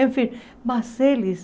Enfim, mas eles...